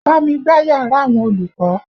Bá mi gbá yàrá àwọn olùkọ́!